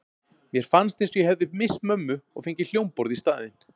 Mér fannst eins og ég hefði misst mömmu og fengið hljómborð í staðinn.